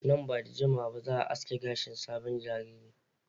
Nan ba da jimawa ba za a aske gashin sabon jariri.